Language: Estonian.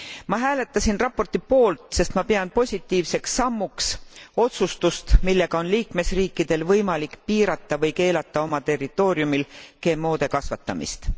Ma hääletasin raporti poolt, sest ma pean positiivseks sammuks otsustust, millega on liikmesriikidel võimalik piirata või keelata oma territooriumil GMOde kasvatamist.